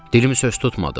Dilim söz tutmadı.